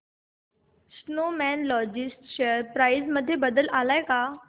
Snowman logistics share price मध्ये बदल आलाय का